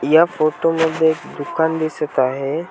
या फोटो मध्ये एक दुकान दिसत आहे.